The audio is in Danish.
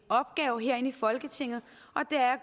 opgave herinde i folketinget er